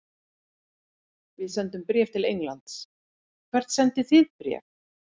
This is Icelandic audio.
Við sendum bréf til Englands. Hvert sendið þið bréf?